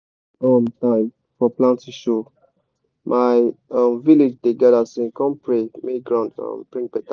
when um time for planting show my um village dey gather sing com pray make ground um bring better